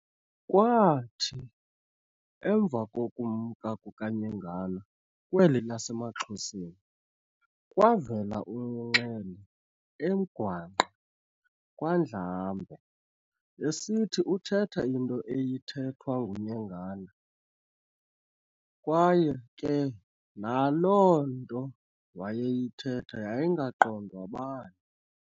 Kwaathi emva kokumka kuka Nyengana kweli lasemaXhoseni, kwavela uNxele eMgwangqa kwaNdlambe, esithi uthetha into eyithethwa nguNyengana, kwaye ke naloo nto wayeyithetha yayingaqondwa bani.